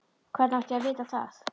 Hvernig átti ég að vita það?